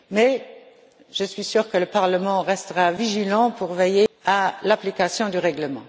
Mais je suis sûre que le Parlement restera vigilant quant à l'application du règlement.